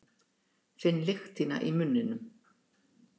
Finn lykt þína í munninum.